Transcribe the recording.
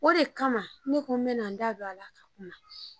O de kama ne ko n bɛ na n da don a la ka kuma.